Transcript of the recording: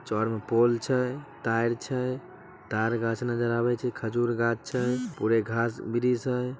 चार म पोल छय तार छय तार घास नजर आवे छय खजूर गाछ छय पुरे घास-वृष हय।